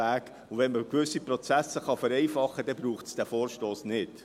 Wenn man gewisse Prozesse vereinfachen kann, dann braucht es diesen Vorstoss nicht.